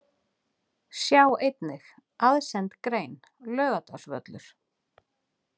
Sjá einnig: Aðsend grein: Laugardalsvöllur